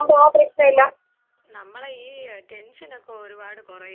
അതെ നമ്മളെ ഈ ടെൻഷനൊക്കെ ഒരുപാട് കൊറയോടി അവടെ പോയി ഇരുന്നാല്.